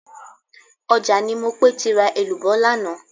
Ọjà ni Mopé ti ra èlùbọ́ lánàá